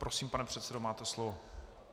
Prosím, pane předsedo, máte slovo.